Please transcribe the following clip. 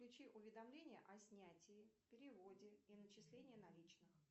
включи уведомления о снятии переводе и начислении наличных